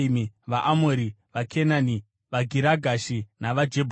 vaAmori, vaKenani, vaGirigashi navaJebhusi.”